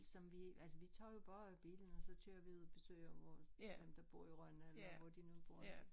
Som vi altså vi tager jo bare bilen og så kører vi ud og besøger dem der bor i Rønne eller hvor de nu bor